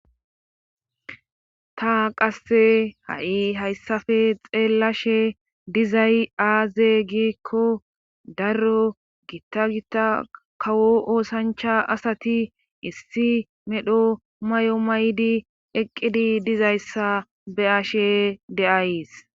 Ta qasse haui hayssape hayssape xeellashe dizay aaze giikko dero giitta gotta darro oosancha asati issi medha mayo mayidi eqqidi dizayssa be7ashe de7ays.